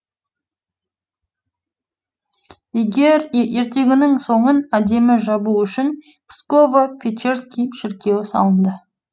ертегінің соңын әдемі жабу үшін псково печерский шіркеуі салынды